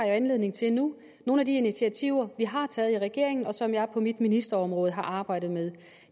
jo anledning til nu nogle af de initiativer vi har taget i regeringen og som jeg på mit ministerområde har arbejdet med